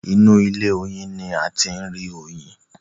inú ilé oyin ní a tí rí Oyin.